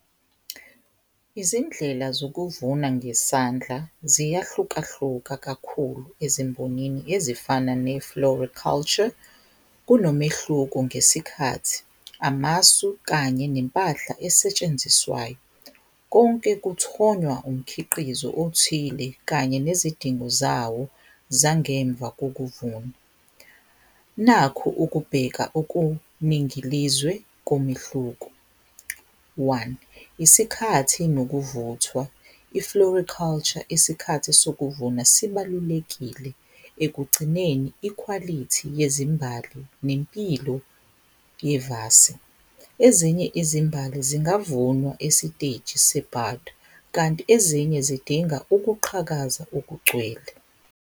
Izindlela zokuvuma ngesandla ziyahlukahluka kakhulu ezimbonini ezifana ne-flora culture kunomehluko ngesikhathi, amasu kanye nempahla esetshenziswayo konke kuthonywa umkhiqizo othile kanye nezidingo zawo zangemva kokuvuna, nakhu ukubheka okuningilizwe komehluku. One, isikhathi nokuvuthwa i-flora culture isikhathi sokuvuna sibalulekile ekugcineni ikhwalithi yezimbali nempilo yevasi, ezinye izimbali zingavunwa esiteji se-bud, kanti ezinye zidinga ukuqhakaza okugcwele.